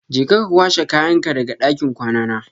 Je ka kwashe kayanka daga ɗakin kwana na.